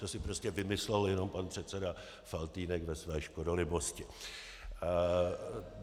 To si prostě vymyslel jenom pan předseda Faltýnek ve své škodolibosti.